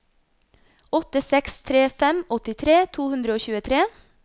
åtte seks tre fem åttitre to hundre og tjuetre